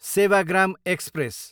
Sevagram express